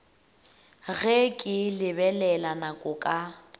ge ke lebelela nako ka